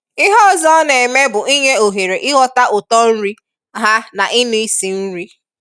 Ihe ọzọ ọ na-eme bụ ịnye ohere ịghọta uto nri ha na inụ isi nri.